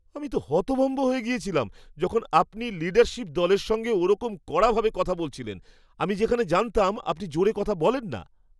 আমি তো হতভম্ব হয়ে গেছিলাম, যখন আপনি লিডারশীপ দলের সঙ্গে ওরকম কড়াভাবে কথা বলেছিলেন, আমি যেখানে জানতাম আপনি জোরে কথা বলেন না!